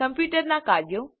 કમ્પ્યુટરનાં કાર્યો